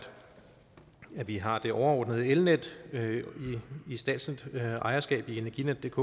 vi har det overordnede elnet i statsligt ejerskab i energinetdk